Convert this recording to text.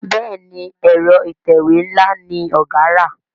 Béèni Ẹ̀rọ ìtẹ̀wé nla ní ọgá rà.